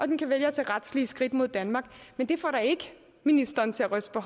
den kan vælge at tage retslige skridt mod danmark men det får da ikke ministeren til at ryste på